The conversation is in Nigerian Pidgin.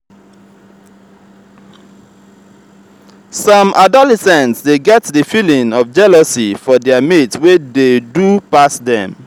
some adolescents dey get the feeling of jealousy for their mate wey do pass dem